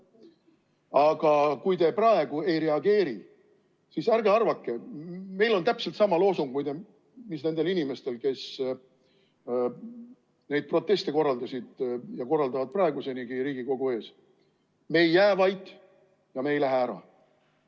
Aga kui te praegu ei reageeri, siis ärge arvake, meil on täpselt sama loosung, mis nendel inimestel, kes neid proteste korraldasid ja korraldavad praeguseni Riigikogu ees: me ei jää vait ja me ei lähe ära.